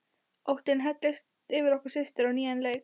Óttinn helltist yfir okkur systur á nýjan leik.